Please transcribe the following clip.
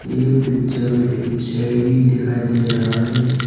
ये पिक्चर में एक शेरनी दिखाई दे रहा है।